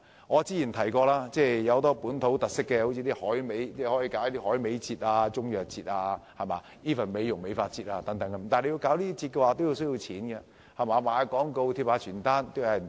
我曾提過香港有很多本土特色，大可舉辦例如海味節、中藥節甚至美容美髮節等，但舉辦這些節目需要錢才成事，賣廣告和張貼傳單都需要錢。